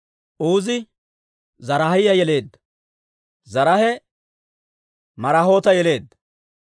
Uuzi Zaraahiyaa yeleedda; Zaraahe Maraayoota yeleedda;